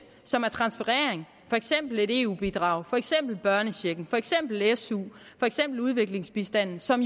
som er transferering for eksempel et eu bidrag for eksempel børnechecken for eksempel su for eksempel udviklingsbistanden som